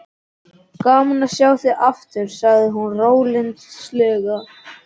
Gaman að sjá þig aftur, sagði hún rólyndislega.